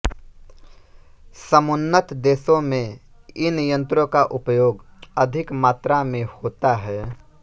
समुन्नत देशों में इन यंत्रों का उपयोग अधिक मात्रा में होता है